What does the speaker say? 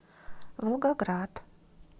волгоград